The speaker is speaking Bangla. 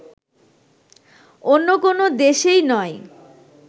অন্য কোন দেশেই নয়